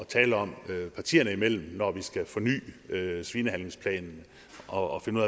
tale om partierne imellem når vi skal forny svinehandlingsplanen og finde